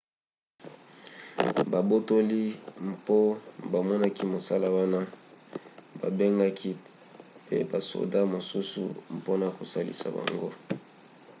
babotoli mpo bamonaki mosala wana babengaki pe basoda mosusu mpona kosalisa bango